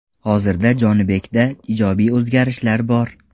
Hozirda Jonibekda ijobiy o‘zgarishlar bor.